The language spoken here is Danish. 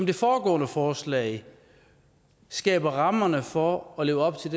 det foregående forslag skaber rammerne for at leve op til